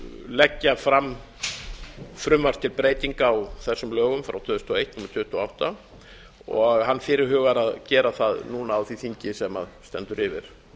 leggja fram frumvarp til breytinga á þessum lögum númer tuttugu og átta tvö þúsund og eins og hann fyrirhugar að gera það núna á því þingi sem stendur yfir